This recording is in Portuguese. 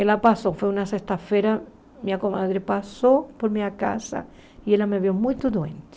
Ela passou, foi uma sexta-feira, minha comadre passou por minha casa e ela me viu muito doente.